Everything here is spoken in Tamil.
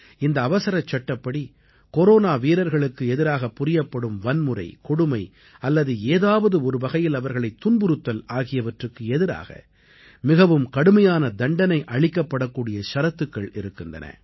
இந்த அவசரச்சட்டப்படி கொரோனா வீரர்களுக்கு எதிராகப் புரியப்படும் வன்முறை கொடுமை அல்லது ஏதாவது ஒருவகையில் அவர்களைத் துன்புறுத்தல் ஆகியவற்றுக்கு எதிராக மிகவும் கடுமையான தண்டனை அளிக்கப்படக்கூடிய ஷரத்துக்கள் இருக்கின்றன